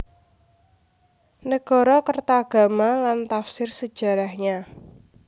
Nagarakretagama dan Tafsir Sejarahnya